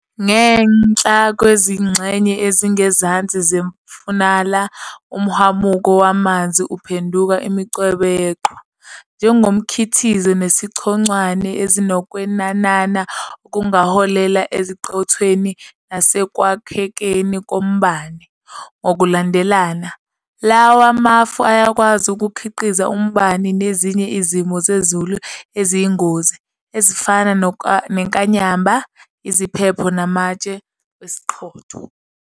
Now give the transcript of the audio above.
Ngenhla kwezingxenye ezingezansi zefunala umhwamuko wamanzi uphenduka imincwebe yeqhwa, njengomkhithiko nesichonchwane, ezinokwenanana okungaholela esiqothweni nasekwakhekeni kombani, ngokulandelana. Lawa mafu ayakwazi ukukhiqiza umbani nezinye izimo zezulu eziyingozi, ezifana nenkanyamba, iziphepho namatshe wesiqhotho.